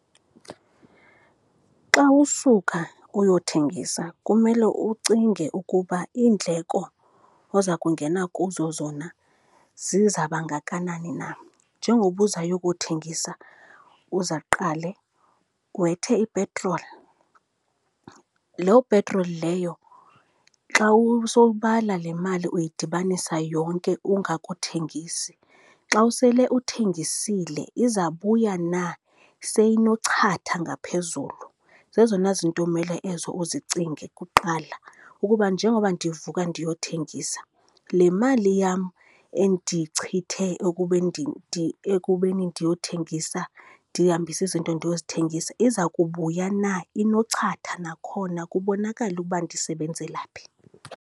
Xa usuka uyothengisa kumele ucinge ukuba iindleko oza kungena kuzo zona zizaba ngakanani na. Njengoba uzayokuthengisa uzaqale wethe ipetroli, loo petroli leyo xa usowubala le mali uyidibanisa yonke ungakuthengisi, xa usele uthengisile izabuya na seyinochatha ngaphezulu. Zezona zinto umele ezo uzicinge kuqala ukuba njengoba ndivuka ndiyothengisa, le mali yam endiyichithe ekubeni ndiyothengisa, ndihambise izinto ndiye kuzithengisa iza kubuya na inochatha, nakhona kubonakale ukuba ndisebenzela phi.